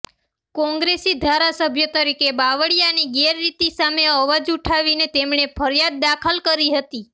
કોંગ્રેસી ધારાસભ્ય તરીકે બાવળિયાની ગેરરીતિ સામે અવાજ ઊઠાવીને તેમણે ફરિયાદ દાખલ કરી હતી